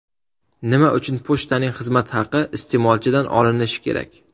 Nima uchun pochtaning xizmat haqi iste’molchidan olinishi kerak?